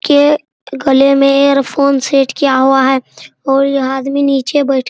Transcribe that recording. के गले में ईयरफोन सेट किया हुआ है और यह आदमी निचे बैठ --